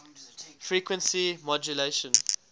frequency modulation